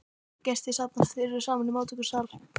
Gestir safnast fyrst saman í móttökusal.